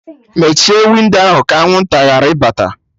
Mechie windo ahụ! ka anwụnta ghara ịbata